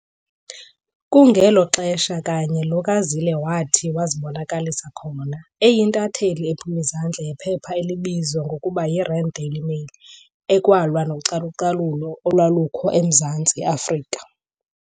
Kungelo xesha kanye lo kaZille wathi wazibonakalisa khona, eyintatheli ephum'izandla yephepha elalibizwa ngokuba yi-Rand Daily mail, ekwalwa nocalu-calulo olwalukho emZantsi Afrika.